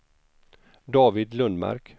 David Lundmark